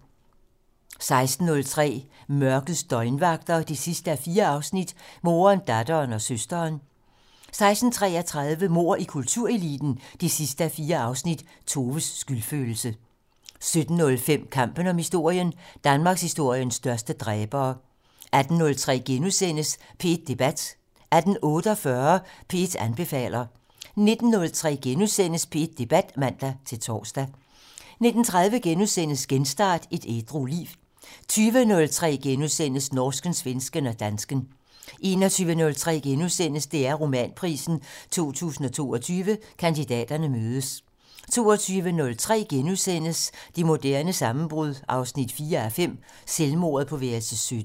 16:03: Mørkets døgnvagter 4:4 - Moderen, datteren og søsteren 16:33: Mord i kultureliten 4:4 - Toves skyldfølelse 17:05: Kampen om historien: Danmarkshistoriens største dræbere 18:03: P1 Debat * 18:48: P1 anbefaler 19:03: P1 Debat *(man-tor) 19:30: Genstart: Et ædru liv * 20:03: Norsken, svensken og dansken *(man) 21:03: DR Romanprisen 2022 - Kandidaterne mødes * 22:03: Det moderne sammenbrud 4:5 - Selvmordet på værelse 17 *